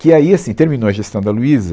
Que aí, assim, terminou a gestão da Luiza